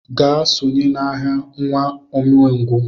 Gaa sonye n'agha, nwa umengwụ!